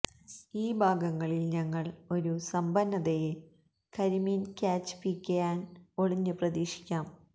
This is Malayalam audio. ഈ ഭാഗങ്ങളിൽ ഞങ്ങൾ ഒരു സമ്പന്നതയെ കരിമീൻ ക്യാച്ച് പികെ ആൻഡ് ഒളിഞ്ഞ് പ്രതീക്ഷിക്കാം